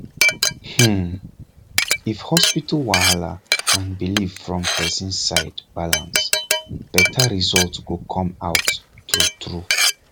hmmmm if hospital wahala and belief from person side balance better result go come out true true